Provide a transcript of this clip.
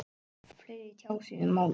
Fleiri tjá sig um málið